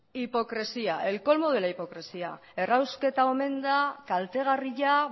hipocresía el colmo de la hipocresía errausketa omen da kaltegarria